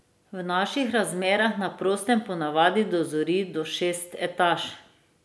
V naših razmerah na prostem ponavadi dozori do šest etaž.